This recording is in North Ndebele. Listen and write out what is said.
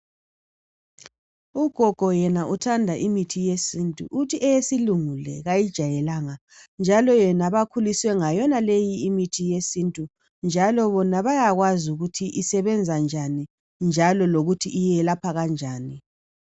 Ugogo yena uthanda imithi yesintu. Uthi eyesilungu le kayijayelanga njalo yena bakhuliswe ngayona leyi imithi yesintu njalo bona bayakwazi ukuthi isebenza njani njalo lokuthi iyelapha kanjani.